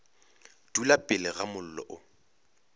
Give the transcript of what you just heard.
dula pele ga mollo o